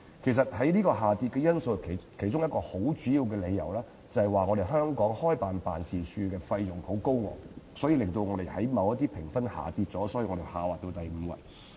事實上，排名下跌其中一個主要因素，是香港開設辦事處的費用十分高昂，令我們在某些評分上下跌，以致排名下滑至第五位。